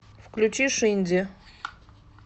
включи шинди